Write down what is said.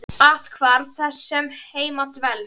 Athvarf þess sem heima dvelst.